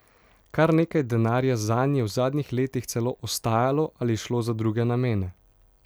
Kar nekaj denarja zanj je v zadnjih letih celo ostajalo ali šlo za druge namene.